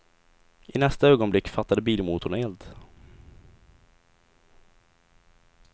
I nästa ögonblick fattade bilmotorn eld.